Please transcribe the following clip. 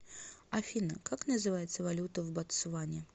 афина как называется валюта в ботсване